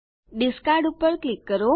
discard પર click કરો